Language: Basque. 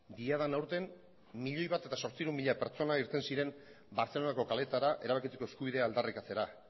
diadan aurten milioi bat zortziehun mila pertsona irten ziren bartzelonako kaleetara erabakitzeko eskubidea aldarrikatzera